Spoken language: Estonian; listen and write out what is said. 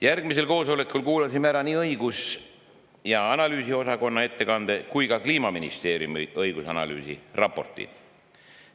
Järgmisel kuulasime ära nii õigus- ja analüüsiosakonna ettekande kui ka Kliimaministeeriumi õigusanalüüsi raporti.